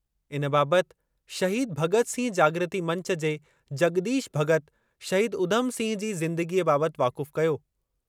इन बाबति शहीद भग॒त सिंह जागृति मंच जे जग॒दीश भग॒त शहीद उधम सिंह जी ज़िंदगीअ बाबति वाक़ुफ़ु कयो।